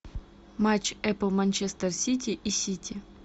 матч апл манчестер сити и сити